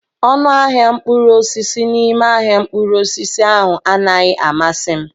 Ọnụ ahịa mkpụrụ osisi n'ime ahịa mkpụrụ osisi ahụ anaghị amasị m.